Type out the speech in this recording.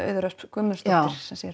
Auður Ösp Guðmundsdóttir